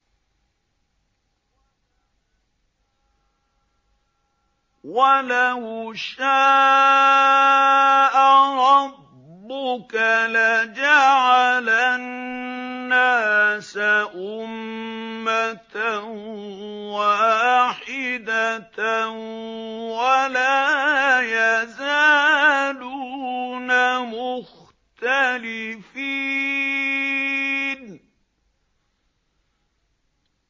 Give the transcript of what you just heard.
وَلَوْ شَاءَ رَبُّكَ لَجَعَلَ النَّاسَ أُمَّةً وَاحِدَةً ۖ وَلَا يَزَالُونَ مُخْتَلِفِينَ